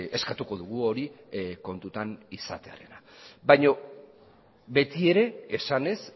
eskatuko dugu hori kontutan izatearena baina beti ere esanez